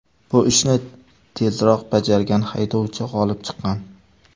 Bu ishni tezroq bajargan haydovchi g‘olib chiqqan.